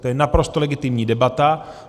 To je naprosto legitimní debata.